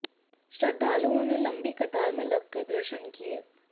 श्रद्घालुओं ने लंबी कतार में लगकर दर्शन किए